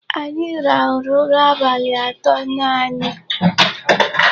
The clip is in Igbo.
Anyị rahụrụ ụra abalị atọ nanị.